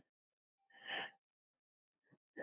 Farðu ekki núna!